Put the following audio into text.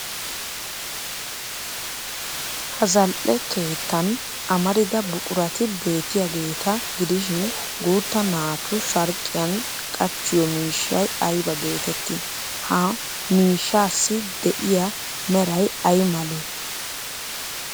Ha zal'e keettan amarida buqurati beettiyaageeta gidishin guutta naatu sharqqiyan qachchiyo miishshay ayba geettettii? Haa miishshaassi de'iyaa meray ay malee?